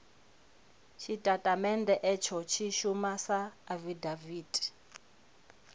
tshitatamennde itsho tshi shuma sa afidaviti